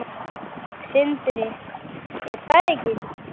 Sindri: Er það ekki?